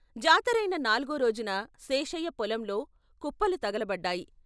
జాతరైన నాల్గో రోజున శేషయ్య పొలంలో కుప్పలు తగలబడ్డాయి.